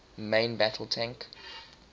main battle tank